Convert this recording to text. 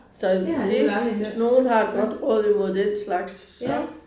Det har jeg alligevel aldrig hørt